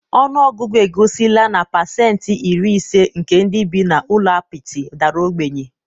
ọnụ ọgụgụ egosila na pasentị iri ise nke ndị bi n'ụlọ apịtị dara ogbenye